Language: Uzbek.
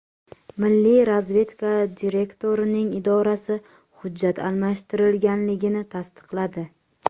Milliy razvedka direktorining idorasi hujjat almashtirilganligini tasdiqladi.